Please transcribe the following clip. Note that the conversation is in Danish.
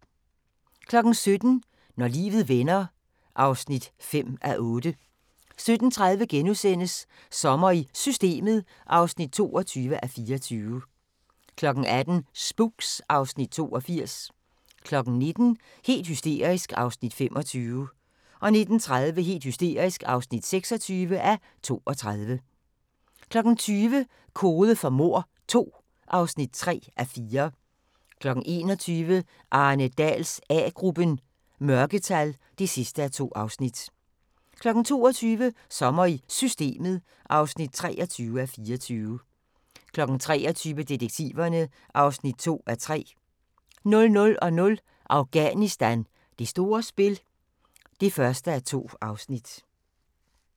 17:00: Når livet vender (5:8) 17:30: Sommer i Systemet (22:24)* 18:00: Spooks (Afs. 82) 19:00: Helt hysterisk (25:32) 19:30: Helt hysterisk (26:32) 20:00: Kode for mord II (3:4) 21:00: Arne Dahls A-gruppen: Mørketal (2:2) 22:00: Sommer i Systemet (23:24) 23:00: Detektiverne (2:3) 00:00: Afghanistan: Det store spil (1:2)